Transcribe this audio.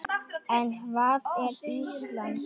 En hvað er Ísland?